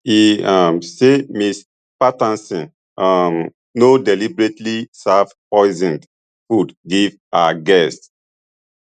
e um say ms patterson um no deliberately serve poisoned food give her guests